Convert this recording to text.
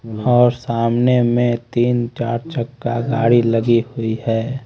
और सामने में तीन चार चक्का गाड़ी लगी हुई है।